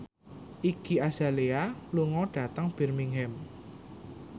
Iggy Azalea lunga dhateng Birmingham